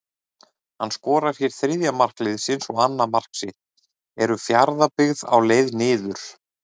HANN SKORAR HÉR ÞRIÐJA MARK LIÐSINS OG ANNAÐ MARK SITT, ERU FJARÐABYGGÐ Á LEIÐ NIÐUR???